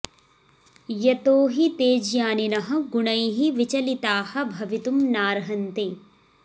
यतो हि ते ज्ञानिनः गुणैः विचलतिताः भवितुं नार्हन्ति